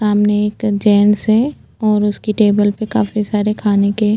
सामने एक जेंट्स है और उसके टेबल पे काफी सारे खाने के --